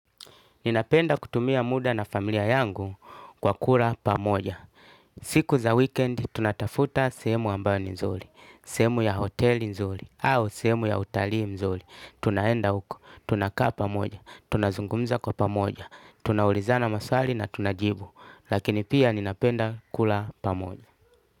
Ninapenda kutumia muda na familia yangu kwa kula pamoja. Siku za wikendi tunatafuta sehemu ambayo ni nzuri, sehemu ya hoteli nzuri, au sehemu ya utalui mzuri. Tunaenda huko, tunakaa pamoja, tunazungumza kwa pamoja, tunaulizana maswali na tunajibu. Lakini pia ninapenda kula pamoja.